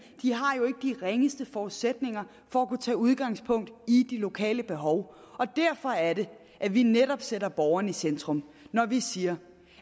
ringeste forudsætninger for at kunne tage udgangspunkt i de lokale behov derfor er det at vi netop sætter borgeren i centrum når vi siger